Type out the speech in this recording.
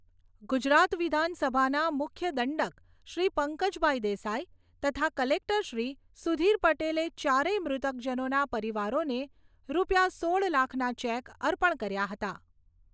ગુજરાત વિધાનસભાના મુખ્યદંડકશ્રી પંકજભાઈ દેસાઈ તથા કલેક્ટરશ્રી સુધીર પટેલે ચારેય મૃતક જનોના પરિવારોને રૂપિયા સોળ લાખના ચેક અર્પણ કર્યા હતા.